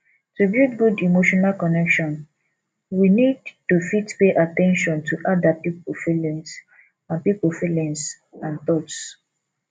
to build good emotional connection we need to fit pay at ten tion to ada pipo feelingds and pipo feelingds and thoughts